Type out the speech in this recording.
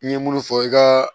I ye munnu fɔ i ka